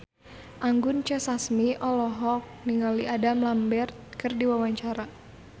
Anggun C. Sasmi olohok ningali Adam Lambert keur diwawancara